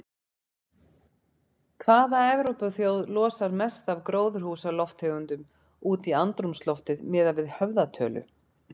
Hvaða Evrópuþjóð losar mest af gróðurhúsalofttegundum út í andrúmsloftið miðað við höfðatölu?